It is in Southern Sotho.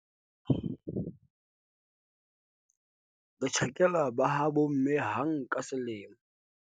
re tjhakela ba ha bomme hang ka selemo